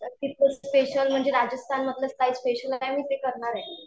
तर तिथलं स्पेशल म्हणजे राजस्थानमधलं स्पेशल काय स्पेशल आहे.